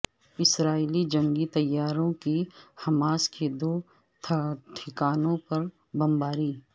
اسرائیلی جنگی طیاروں کی حماس کے دو ٹھکانوں پر بمباری